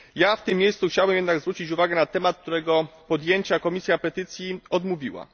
W tym miejscu chciałbym jednak zwrócić uwagę na temat, którego podjęcia Komisja Petycji odmówiła.